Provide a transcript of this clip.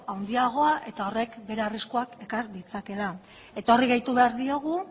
handiagoa eta horrek bere arriskuak ekar ditzakeela eta horri gehitu behar diogu